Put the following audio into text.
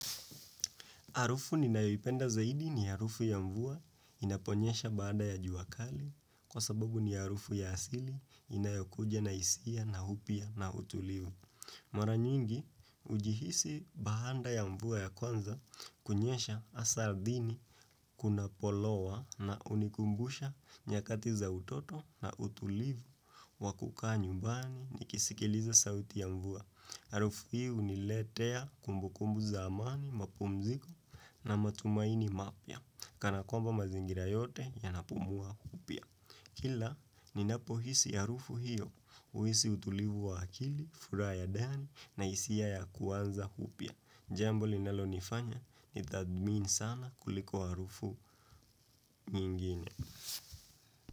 Harufu ninayoipenda zaidi ni harufu ya mvua inaponyesha baada ya jua kali kwa sababu ni harufu ya asili inayokuja na hisia na upya na utulivu. Mara nyingi ujihisi bahanda ya mvua ya kwanza kunyesha asa ardhini kunapo lowa na unikumbusha nyakati za utoto na utulivu wa kukaa nyumbani ni kisikiliza sauti ya mvua. Arufu hi uniletea kumbu kumbu za amani, mapumziko na matumaini mapya kana kwamba mazingira yote yanapumua upya. Kila ninapohisi arufu hiyo uisi utulivu wa akili, furaha ya dani na isia ya kuanza upya. Jambo linalo nifanya nitadhmini sana kuliko wa arufu nyingine.